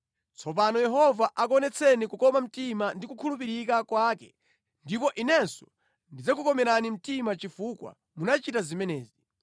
Tsopano Yehova akuonetseni kukoma mtima ndi kukhulupirika kwake ndipo inenso ndidzakukomerani mtima chifukwa munachita zimenezi.